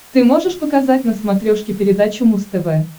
ты можешь показать на смотрешке передачу муз тв